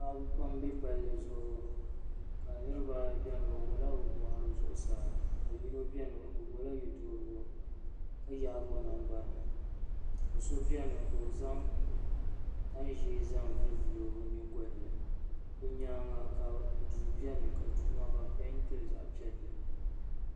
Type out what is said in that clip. paɣaba pam m-be palli zuɣu ka niriba ayi beni bɛ wuɣi la bɛ bɔɣiri zuɣusaa ka yino beni o gbubi la ye' duhirigu ka yaagi o nangbuni ka so beni ka o zaŋ tani ʒee zaŋ volivoli o nyingɔli ni bɛ nyaaga ka duu beni ka duu maa ka bɛ peenti li zaɣ' piɛlli.